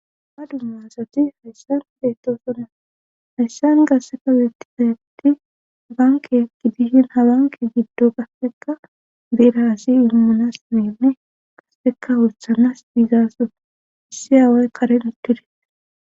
a dummasati hayssan beettosonna hayssan gasseka weetti tayatti banke gidishin ha banke giddo qasseka biraassi imunas menne qasseka wuthanas biizaason issi aaway karen ittudite